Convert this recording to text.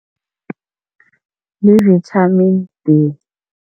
Yi-Vitamin B.